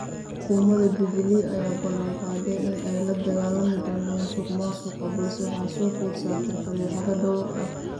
Xukuumada jubilee ayaa balan qaaday in ay la dagaalami doonto musuq maasuqa balse waxaa soo food saartay fadeexado dhowr ah.